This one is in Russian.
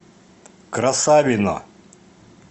красавино